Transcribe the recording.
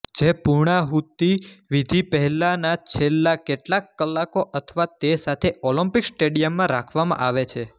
જે પુર્ણાહુતી વિધિ પહેલાના છેલ્લા કેટલાક કલાકો અથવા તે સાથે ઓલમ્પિક સ્ટેડિયમમાં રાખવામાં આવે છે